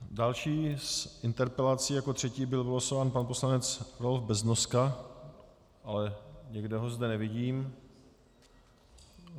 Další s interpelací, jako třetí, byl vylosován pan poslanec Adolf Beznoska, ale nikde ho zde nevidím.